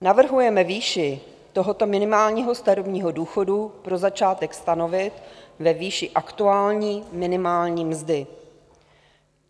Navrhujeme výši tohoto minimálního starobního důchodu pro začátek stanovit ve výši aktuální minimální mzdy.